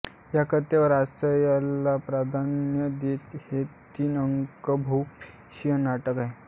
या कथेवर हास्यरसाला प्राधान्य देत हे तीनअंकी बहुप्रवेशी नाटक आहे